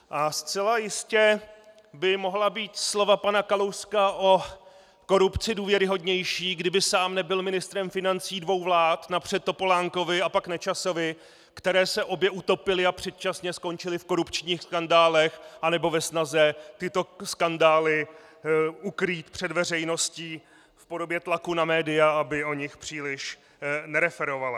A zcela jistě by mohla být slova pana Kalouska o korupci důvěryhodnější, kdyby sám nebyl ministrem financí dvou vlád, napřed Topolánkovy a pak Nečasovy, které se obě utopily a předčasně skončily v korupčních skandálech anebo ve snaze tyto skandály ukrýt před veřejnosti v podobě tlaku na média, aby o nich příliš nereferovala.